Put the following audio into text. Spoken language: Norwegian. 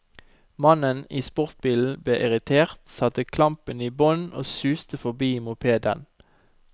Mannen i sportsbilen ble irritert, satte klampen i bånn og suste forbi mopeden.